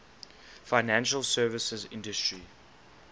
financial services industry